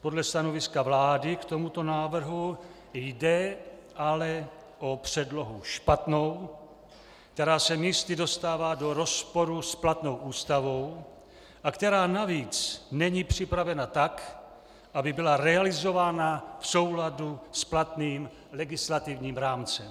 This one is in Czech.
Podle stanoviska vlády k tomuto návrhu jde ale o předlohu špatnou, která se místy dostává do rozporu s platnou Ústavou a která navíc není připravena tak, aby byla realizována v souladu s platným legislativním rámcem.